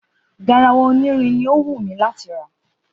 Garawa onírin ni ó wú láti rà.